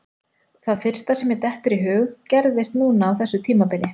Það fyrsta sem mér dettur í hug gerðist núna á þessu tímabili.